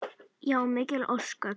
Já, mikil ósköp.